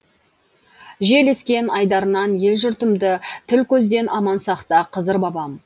жел ескен айдарынан ел жұртымды тіл көзден аман сақта қызыр бабам